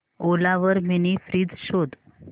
ओला वर mini fridge शोध